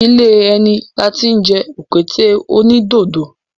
Ilé ẹni la tí ń jẹ òkété onídodo.